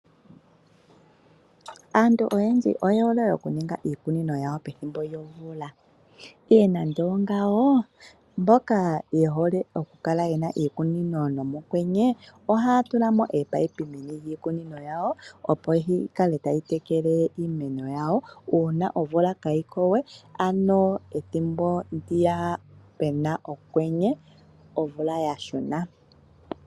Aantu oyendji oye hole oku ninga iikunino yawo, pethimbo lyomvula. Ihe nando ongawoo: mboka ye hole oku kala ye na iikunino nomokwenye oha ya tula ominino meni lyiikunino yawo opo dhi kale tadhi tekele iimeno yawo uuna omvula kayiko we, ano ethimbo lyokwenye, omvula ya shuna.